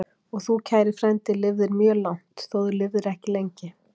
Og þú, kæri frændi, lifðir mjög langt, þótt þú lifðir ekki lengi.